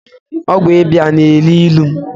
Ọgwụ ịba na- elu ilu